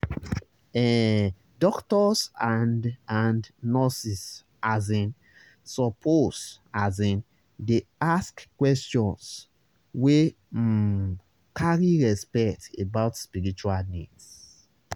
ehh doctors and and nurses asin suppose asin dey ask questions wey um carry respect about spiritual needs.